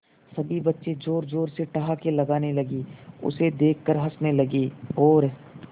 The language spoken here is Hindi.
सभी बच्चे जोर जोर से ठहाके लगाने लगे उसे देख कर हंसने लगे और